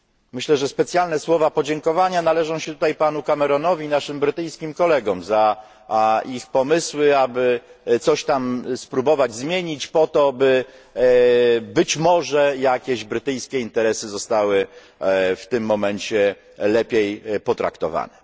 Myślę, że specjalne słowa podziękowania należą się tutaj panu Cameronowi i naszym brytyjskim kolegom za ich pomysły, aby coś tam spróbować zmienić po to, by być może jakieś brytyjskie interesy zostały w tym momencie lepiej potraktowane.